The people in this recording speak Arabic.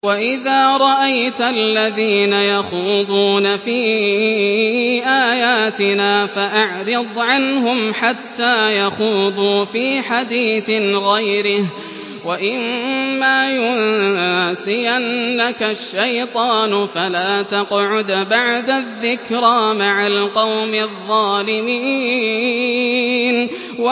وَإِذَا رَأَيْتَ الَّذِينَ يَخُوضُونَ فِي آيَاتِنَا فَأَعْرِضْ عَنْهُمْ حَتَّىٰ يَخُوضُوا فِي حَدِيثٍ غَيْرِهِ ۚ وَإِمَّا يُنسِيَنَّكَ الشَّيْطَانُ فَلَا تَقْعُدْ بَعْدَ الذِّكْرَىٰ مَعَ الْقَوْمِ الظَّالِمِينَ